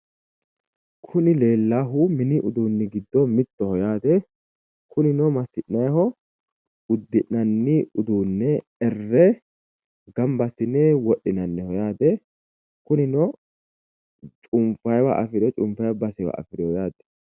Kuni leellahu mini uduunnichi giddo mittoho udi'nanni uduunnicho ererre wodhinanniho cunfanniwa afirinoho